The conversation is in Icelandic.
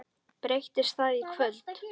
Breytist það í kvöld?